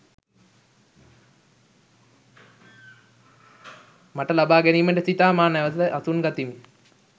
මට ලබා ගැනීමට සිතා මා නැවත අසුන් ගතිමි.